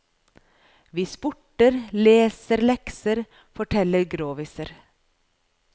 Vi sporter, leser lekser, forteller groviser.